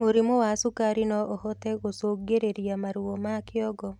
Mũrimũ wa cukari noũhote gũcũngĩrĩria maruo ma kĩongo